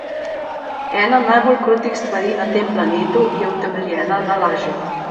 Ena najbolj krutih stvari na tem planetu je utemeljena na laži.